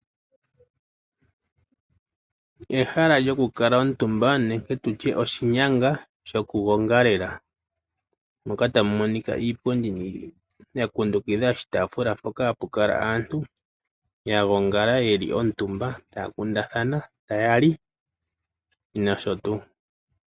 Ehala lyokukala omutumba nenge tu tye oshinyanga shokugongalela moka tamu monika iipundi ya kundukidha oshitaafula mpoka hapu kala aantu taya kundathana, taya li nosho tuu.